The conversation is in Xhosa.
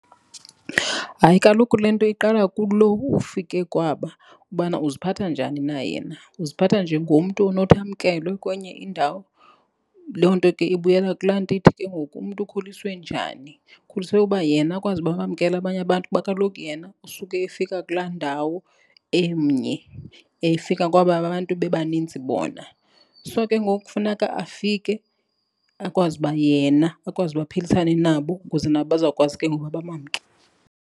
Hayi, kaloku le nto iqala kulo ufike kwaba ubana uziphatha njani na yena. Uziphatha njengomntu onothi amkelwe kwenye indawo. Loo nto ke ibuyela kulaa nto ithi ke ngoku umntu ukhuliswe njani. Ukhuliswe uba yena akwazi uba abamkele abanye abantu kuba kaloku yena usuke efika kulaa ndawo emnye, efika kwaba abantu bebanintsi bona. So, ke ngoku kufuneka afike akwazi uba yena, akwazi uba aphilisane nabo ukuze nabo bazawukwazi ke ngoku uba bamamkele.